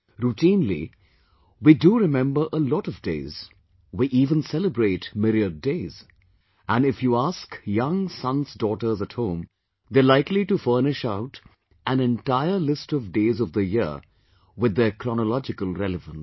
Routinely, we do remember a lot of days; we even celebrate myriad Days...and if you ask young sonsdaughters at home, they are likely to furnish out an entire list of Days of the year with their chronological relevance